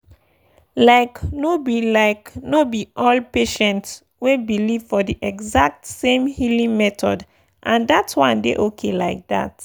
like no be like no be all patients wey believe for the exact same healing method and that one dey okay like that.